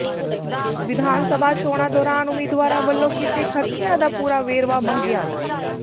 ਵਿਧਾਨ ਸਭਾ ਚੋਣਾਂ ਦੌਰਾਨ ਉਮੀਦਵਾਰਾਂ ਵੱਲੋਂ ਕੀਤੇ ਖ਼ਰਚਿਆਂ ਦਾ ਪੂਰਾ ਵੇਰਵਾ ਮੰਗਿਆ